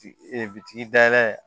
Ee bitigi dayɛlɛ